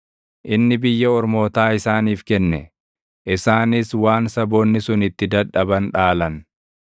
inni biyya ormootaa isaaniif kenne; isaanis waan saboonni sun itti dadhaban dhaalan;